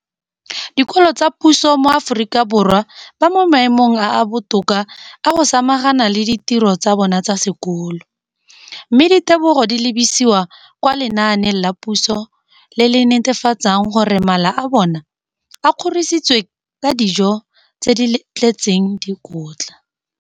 dikolo tsa puso mo Aforika Borwa ba mo maemong a a botoka a go ka samagana le ditiro tsa bona tsa sekolo, mme ditebogo di lebisiwa kwa lenaaneng la puso le le netefatsang gore mala a bona a kgorisitswe ka dijo tse di tletseng dikotla.